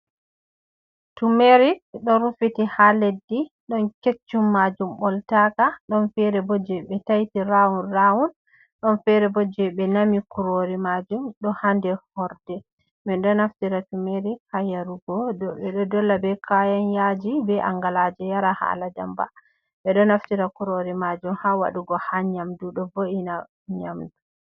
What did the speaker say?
Tumerik ɗo rufiti ha leddi, ɗon keccum majum ɓoltaka, ɗon fere bo je ɓe taiti rawun rawun. Ɗon fere bo jei ɓe nami kurori maajum ɗo ha nder horde. Ɓe ɗo naftira tumerik ha yarugo ɓe ɗo dolla be kayan yaaji, be angalaaje yara, hala ndamba. Ɓe ɗo naftira kurori maajum ha waɗugo ha nyamdu, ɗo vo’ina nyamdu.